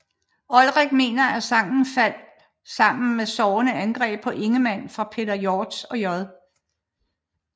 Olrik mente at sangen faldt sammen med sårende angreb på Ingemann fra Peder Hjorts og J